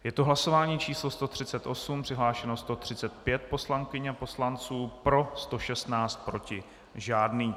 Je to hlasování číslo 138, přihlášeno 135 poslankyň a poslanců, pro 116, proti žádný.